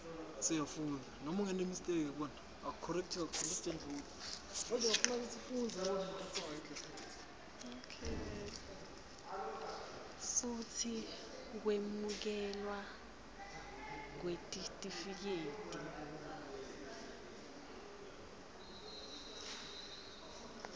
futsi kwemukelwa kwetitifiketi